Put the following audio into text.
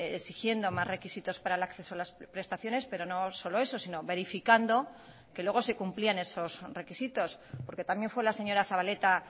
exigiendo más requisitos para el acceso a las prestaciones pero no solo eso sino verificando que luego se cumplían esos requisitos porque también fue la señora zabaleta